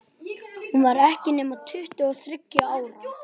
Hún var ekki nema tuttugu og þriggja ára.